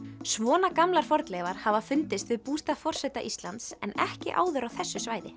svona gamlar fornleifar hafa fundist við bústað forseta Íslands en ekki áður á þessu svæði